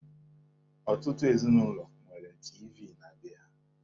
Ọtụtụ ezinụlọ nwere tiivii na be ha.